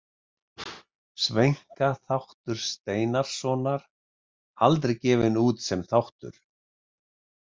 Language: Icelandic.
Sveinka þáttur Steinarssonar: Aldrei gefinn út sem þáttur.